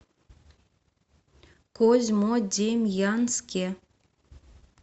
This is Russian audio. козьмодемьянске